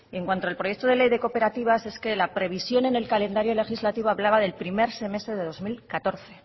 en cuanto al proyecto de ley de cooperativas es que la previsión en el calendario legislativo hablaba del primer semestre de dos mil catorce